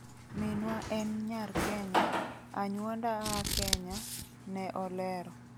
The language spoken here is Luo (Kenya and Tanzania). "Minwa en nyar Kenya, anyuonda aa Kenya",ne olero.